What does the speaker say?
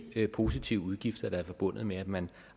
positive udgifter der er forbundet med at man